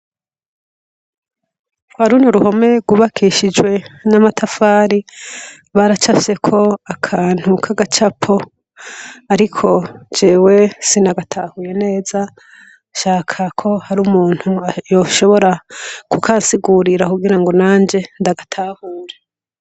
Kwa runo ruhome rwubakishijwe n'amatafari, baracafyeko akantu k'agacapo, ariko jewe sinagatahuye neza, nshaka ko hari umuntu yoshobora kukansigurira kugira ngo nanje ndagatahure.